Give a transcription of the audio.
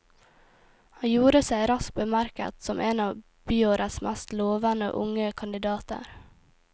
Han gjorde seg raskt bemerket som en av byråets mest lovende unge kandidater.